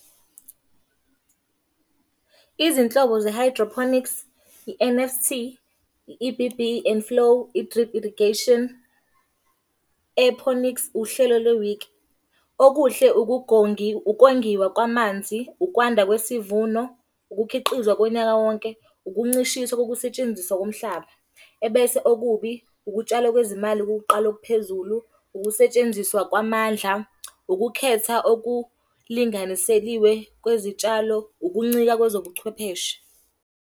Izinhlobo ze-hydroponics. I-N_F_T, i-E_B_B and flow, i-drip irrigation, aeroponics, uhlelo lwe-wick. Okuhle ukongiwa kwamanzi, ukwanda kwesivuno, ukukhiqizwa konyaka wonke, ukuncishiswa kokusetshenziswa komhlaba. Ebese okubi, ukutshalwa kwezimali kokuqala okuphezulu, ukusetshenziswa kwamandla, ukukhetha okulinganiseliwe kwezitshalo, ukuncika kwezobuchwepheshe.